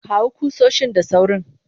kawo kusoshin da sawrin